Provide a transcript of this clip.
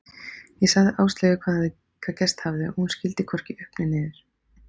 Ég sagði Áslaugu hvað gerst hafði og hún skildi hvorki upp né niður.